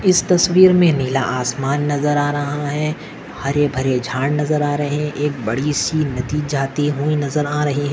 इस तस्वीर मे नीला आसमान नज़र आ रहा है हरे-भरे झाड नज़र आ रहे एक बड़ीसी नदी जाते हुए नज़र आ रहे है।